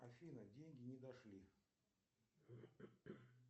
афина деньги не дошли